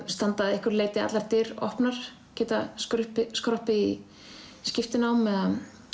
standa að einhverju leyti allar dyr opnar geta skroppið skroppið í skiptinám eða